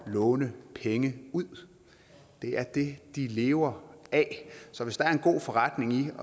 låne penge ud det er det de lever af så hvis der er en god forretning